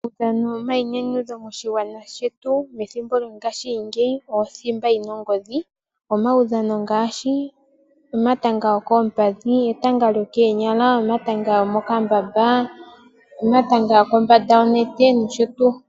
Uudhano owo omayinyanyudho moshingwana shetu methimbo lyo ngaashingeyi, othimba yina ongodhi. Omawudhano ngaashi omatanga gokoompadhi, etanga lyokoonyala, omayanga gomokamba, omatanga goko mbanda yonete nosho tuu.